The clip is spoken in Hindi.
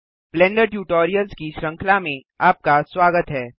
ब्लेंडर ट्यूटोरियल्स की श्रृंखला में आपका स्वागत है